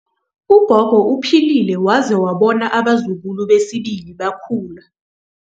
Ugogo uphilile waze wabona abazukulu besibili bekhula.